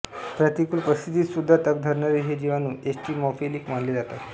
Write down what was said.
प्रतिकूल परिस्थितीत सुद्धा तग धरणारे हे जीवाणू एक्स्ट्रीमोफिलिक मानले जातात